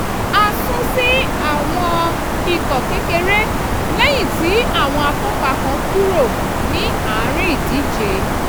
a sún sí àwọn ikọ̀ kékeré lẹ́yìn tí àwọn akópa kan kúrò ní àárín ìdíje